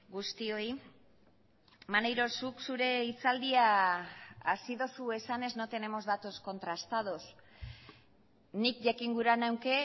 guztioi maneiro zuk zure hitzaldia hasi duzu esanez no tenemos datos contrastados nik jakin gura nuke